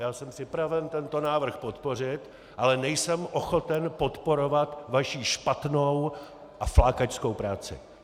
Já jsem připraven tento návrh podpořit, ale nejsem ochoten podporovat vaši špatnou a flákačskou práci.